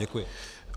Děkuji.